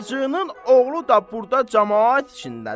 Hacının oğlu da burda camaat içindədir?